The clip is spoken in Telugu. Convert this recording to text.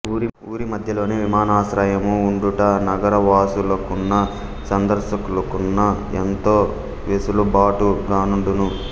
ఊరి మధ్యలోనే విమానాశ్రయము ఉండుట నగరవాసులకును సందర్శకులకును ఎంతో వెసులుబాటుగానుండును